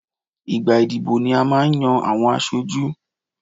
Ìgbà ìdìbò ni a máa n yan àwọn aṣojú